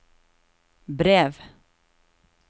brev